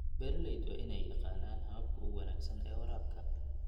Beeralayda waa in ay yaqaanaan hababka ugu wanaagsan ee waraabka.